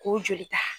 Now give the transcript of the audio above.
K'o joli ta